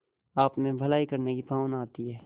आपमें भलाई करने की भावना आती है